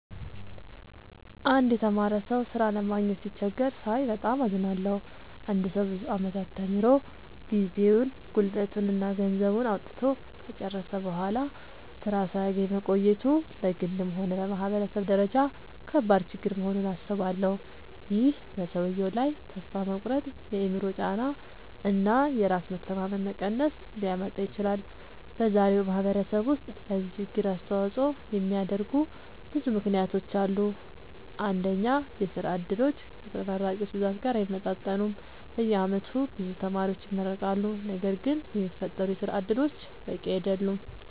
አንድ የተማረ ሰው ሥራ ለማግኘት ሲቸገር ሳይ በጣም አዝናለሁ። አንድ ሰው ብዙ ዓመታት ተምሮ፣ ጊዜውን፣ ጉልበቱን እና ገንዘቡን አውጥቶ ከጨረሰ በኋላ ሥራ ሳያገኝ መቆየቱ በግልም ሆነ በማህበረሰብ ደረጃ ከባድ ችግር መሆኑን አስባለሁ። ይህ በሰውየው ላይ ተስፋ መቁረጥ፣ የአእምሮ ጫና እና የራስ መተማመን መቀነስ ሊያመጣ ይችላል። በዛሬው ማህበረሰብ ውስጥ ለዚህ ችግር አስተዋጽኦ የሚያደርጉ ብዙ ምክንያቶች አሉ። አንደኛ፣ የሥራ ዕድሎች ከተመራቂዎች ብዛት ጋር አይመጣጠኑም። በየዓመቱ ብዙ ተማሪዎች ይመረቃሉ፣ ነገር ግን የሚፈጠሩ የሥራ እድሎች በቂ አይደሉም።